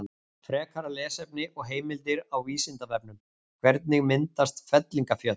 Frekara lesefni og heimildir á Vísindavefnum: Hvernig myndast fellingafjöll?